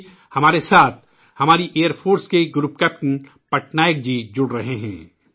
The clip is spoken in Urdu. اس لئے ہمارے ساتھ ، ہماری فضائیہ کے گروپ کیپٹن پٹنائک جی جڑ رہے ہیں